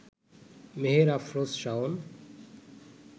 Meher Afroz Shaon